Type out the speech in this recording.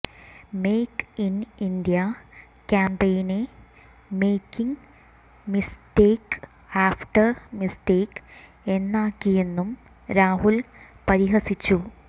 make in India ക്യാംപെയിനെ making mistake after mistake എന്നാക്കിയെന്നും രാഹുൽ പരിഹസിച്ചു